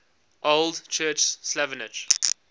old church slavonic